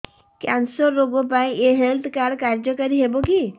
cancer ରୋଗ ପାଇଁ ଏଇ ହେଲ୍ଥ କାର୍ଡ କାର୍ଯ୍ୟକାରି ହେବ କି